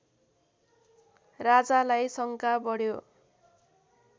राजालाई शङ्का बढ्यो